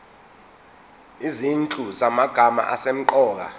izinhlu zamagama asemqoka